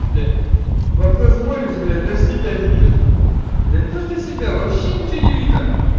блять в окно смотришь блять даже себя не видишь да не то что себя вообще ничего не видно